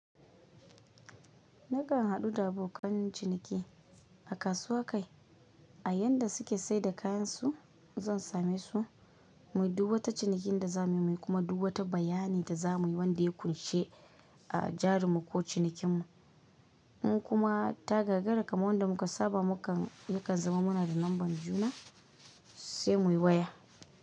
Nakan haɗu da abokan ciniki a kasuwa kai, a yanda suke saida kayansu zan same su, muyi duk wa ta cinikin da za muyi kuma duba ta bayanin da za muyi wanda ya ƙunshi a jarinmu ko cinikin mu. In kuma ta gagara kamar wanda muka saba, muka yakan zama muna da lambar juna, sai muyi waya.